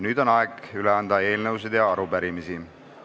Nüüd on aeg üle anda eelnõusid ja arupärimisi.